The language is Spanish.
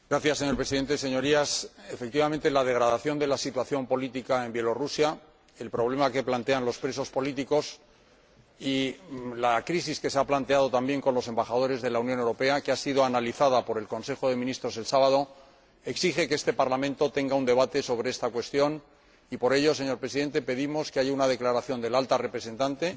Señor Presidente, Señorías, efectivamente, la degradación de la situación política en Belarús, el problema que plantean los presos políticos y la crisis que se ha planteado también con los embajadores de la Unión Europea, que fue analizada por el Consejo de Ministros de Asuntos Exteriores el pasado sábado, exigen que este Parlamento tenga un debate sobre esta cuestión y, por ello, señor Presidente, pedimos que haya una declaración de la Alta Representante